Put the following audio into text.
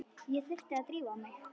Ég þurfti að drífa mig.